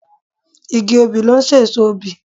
Igi obì ló n sèso obì